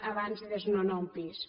abans de desnonar un pis